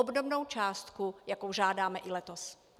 Obdobnou částku, jakou žádáme i letos.